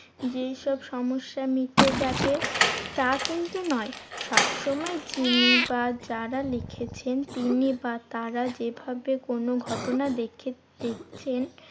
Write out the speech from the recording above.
যেইসব সমস্যা মিটে যাবে, তা কিন্তু নয়। সবসময় যিনি বা যারা লিখেছেন তিনি বা তারা যেভাবে কোনো ঘটনা দেখে~ দেখেছেন